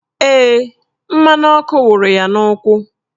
Ee, mmanụ ọkụ wụrụ ya n'ụkwụ